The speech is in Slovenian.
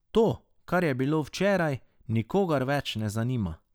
To, kar je bilo včeraj, nikogar več ne zanima.